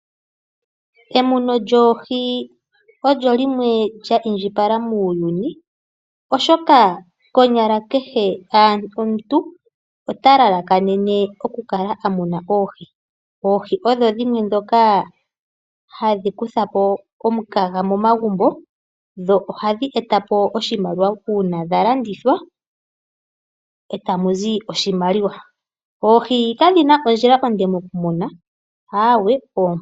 Emuno lyoohi olyo limwe lya indjipala oshoka kehe omuntu otalalakanene okumuna oohi. Oohi odho dhimwe dhoka hadhi kuthapo omukaga momagumbo dho ohadhi etapo oshimaliwa uuna dhalandithwa etamuzi oshimaliwa. Oohi kadhina ondjila onde okumunwa aawe.